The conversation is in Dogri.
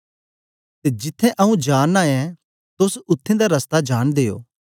ते जिथें आऊँ जा नां ऐं तोस उत्थें दा रस्ता जांनदे ओ